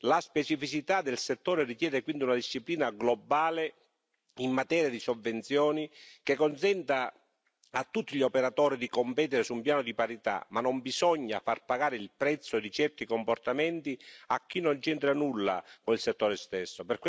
La specificità del settore richiede quindi una disciplina globale in materia di sovvenzioni, che consenta a tutti gli operatori di competere su un piano di parità, ma non bisogna far pagare il prezzo di certi comportamenti a chi non c'entra nulla con il settore stesso.